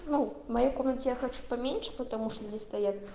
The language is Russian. ну в моей комнате я хочу поменьше потому что здесь стоят